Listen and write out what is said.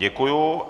Děkuji.